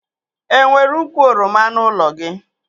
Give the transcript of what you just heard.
E nwere ukwu oroma n'ụlọ gị?